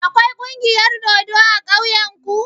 Akwai kungiyar dodo a ƙauyen ku?